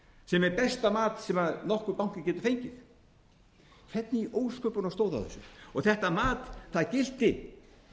sem er besta mat sem nokkur banki getur fengið hvernig í ósköpunum stóð á þessu þetta mat gilti